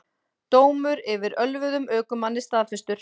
Dómur yfir ölvuðum ökumanni staðfestur